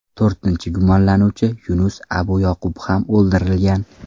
To‘rtinchi gumonlanuvchi Yunus Abuyoqub ham o‘ldirilgan.